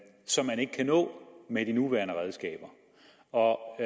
som man ikke kan nå med de nuværende redskaber og